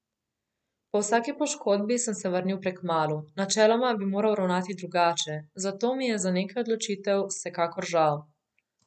Po vsaki poškodbi sem se vrnil prekmalu, načeloma bi moral ravnati drugače, zato mi je za nekaj odločitev vsekakor žal.